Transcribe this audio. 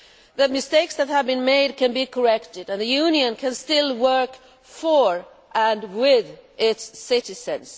The mistakes that have been made can be corrected and the Union can still work for and with its citizens.